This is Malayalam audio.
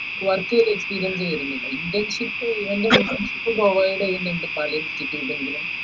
work experience വരുന്നില്ല internship provide